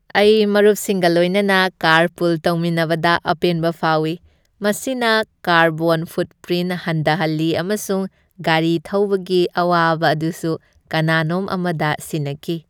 ꯑꯩ ꯃꯔꯨꯞꯁꯤꯡꯒ ꯂꯣꯏꯅꯅ ꯀꯥꯔꯄꯨꯜ ꯇꯧꯃꯤꯟꯅꯕꯗ ꯑꯄꯦꯟꯕ ꯐꯥꯎꯏ, ꯃꯁꯤꯅ ꯀꯥꯔꯕꯣꯟ ꯐꯨꯠꯄ꯭ꯔꯤꯟ ꯍꯟꯗꯍꯜꯂꯤ ꯑꯃꯁꯨꯡ ꯒꯥꯔꯤ ꯊꯧꯕꯒꯤ ꯑꯋꯥꯕ ꯑꯗꯨꯁꯨ ꯀꯅꯥꯅꯣꯝ ꯑꯃꯗ ꯁꯤꯟꯅꯈꯤ ꯫